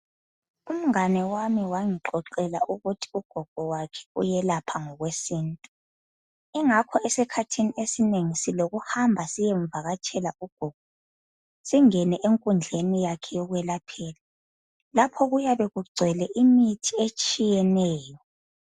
Umngane wami wangixoxela ukuthi ugogo wakhe uyelapha ngokwesintu. Ingakho esikhathini esinengi silokuhamba siyemvakatshela ugogo, singene enkundleni yakhe yokwelaphela lapho kuyabe kugcwele imithi etshiyeneyo.